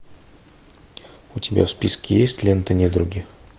у тебя в списке есть лента недруги